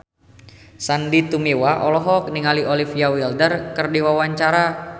Sandy Tumiwa olohok ningali Olivia Wilde keur diwawancara